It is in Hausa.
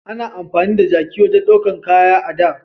A na amfani da jaki wajen daukan kaya da